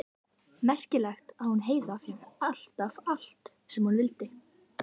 Merkilegt að hún Heiða fékk alltaf allt sem hún vildi.